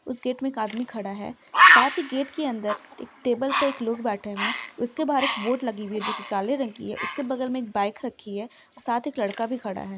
उस गेट में एक आदमी खड़ा है साथ ही गेट के अन्दर एक टेबल पे एक लोग बैठे हुए है उसके बाहर एक बोर्ड लगी हुई है जो की काले रंग की है उसके बगल में एक बाइक रखी है और साथ एक लड़का भी खड़ा है ।